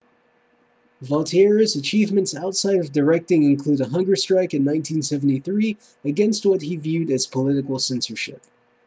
vautier's achievements outside of directing include a hunger strike in 1973 against what he viewed as political censorship